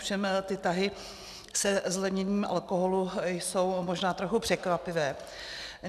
Ovšem ty tahy se zlevněním alkoholu jsou možná trochu překvapivé.